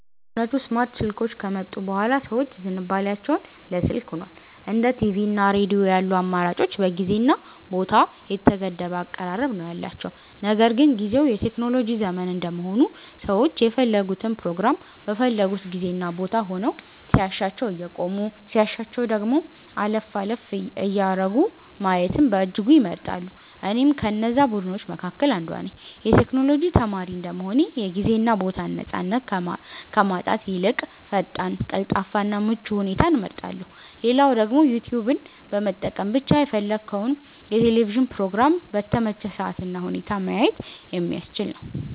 በእውነቱ ስማርት ስልኮች ከመጡ ቡሃላ ሰዎች ዝንባሊያቸው ለ ስልክ ሁኗል። እንደ ቲቪ እና ሬዲዮ ያሉ አማራጮች በጊዜ እና ቦታ የተገደበ አቀራረብ ነው ያላቸው። ነገር ግን ጊዝው የቴክኖሎጂ ዘመን እንደመሆኑ ሰዎች የፈለጉትን ፕሮግራም በፈለጉት ጊዜ እና ቦታ ሆነው ሲያሻቸው እያቆሙ ሲያሻቸው ደግሞ አለፍ አለፍ እያደረጉ ማየትን በእጅጉ ይመርጣሉ። እኔም ከነዛ ቡድኖች መካከል አንዷ ነኝ። የ ቴክኖሎጂ ተማሪ እንደመሆኔ የ ጊዜ እና ቦታን ነፃነት ከማጣት ይልቅ ፈጣን፣ ቀልጣፋ እና ምቹ ሁኔታን እመርጣለው። ሌላው ደግሞ ዩትዩብን በመጠቀም ብቻ የፈለግከውን የ ቴሌቪዥን ፕሮግራም በተመቸህ ሰአት እና ሁኔታ ማየት የሚያስችል ነው።